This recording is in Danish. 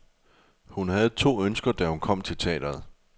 Hun havde to ønsker, da hun kom til teatret.